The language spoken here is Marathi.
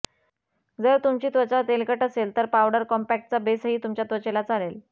जर तुमची त्वचा तेलकट असेल तर पावडर कॉम्पैक्टचा बेसही तुमच्या त्वचेला चालेल